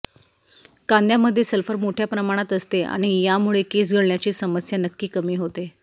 कांद्यामध्ये sulphur मोठ्या प्रमाणात असते आणि यामुळे केस गळण्याची समस्या नक्की कमी होते